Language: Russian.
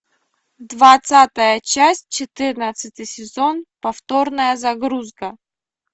двадцатая часть четырнадцатый сезон повторная загрузка